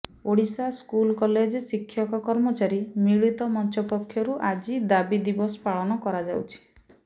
Odisha school college ଶିକ୍ଷକ କର୍ମଚାରୀ ମିଳିତ ମଞ୍ଚ ପକ୍ଷରୁ ଆଜି ଦାବି ଦିବସ ପାଳନ କରାଯାଉଛି